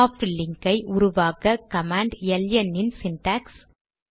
soft link ஐ உருவாக்க command LN இன் சிண்டாக்ஸ்